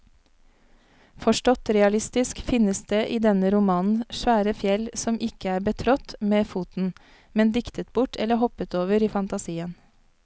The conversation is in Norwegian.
Forstått realistisk finnes det i denne romanen svære fjell som ikke er betrådt med foten, men diktet bort eller hoppet over i fantasien.